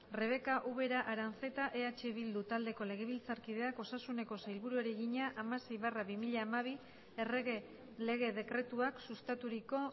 rebeka ubera aranzeta eh bildu taldeko legebiltzarkideak osasuneko sailburuari egina hamasei barra bi mila hamabi errege lege dekretuak sustaturiko